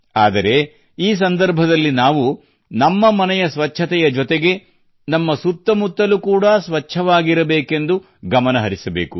ಆದರೆ ಈ ಸಂದರ್ಭದಲ್ಲಿ ನಾವು ನಮ್ಮ ಮನೆಯ ಸ್ವಚ್ಛತೆಯ ಜೊತೆಗೆ ನಮ್ಮ ಸುತ್ತಮುತ್ತಲು ಕೂಡಾ ಸ್ವಚ್ಛವಾಗಿರಬೇಕೆಂದು ನಾವು ಗಮನ ಹರಿಸಬೇಕು